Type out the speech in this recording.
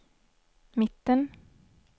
mitten